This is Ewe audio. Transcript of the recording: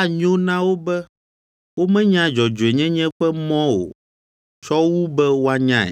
Anyo na wo be womenya dzɔdzɔenyenye ƒe mɔ o tsɔ wu be woanyae,